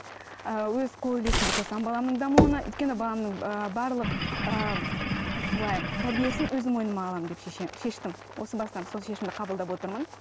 ыыы өз қол үлесімді қосамын баламның дамуына өйткені баламның ыыы барлық ыыы былай тәрбиесін өзім мойныма аламын деп шеше шештім осы бастан сол шешімді қабылдап отырмын